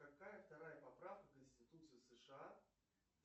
какая вторая поправка конституции сша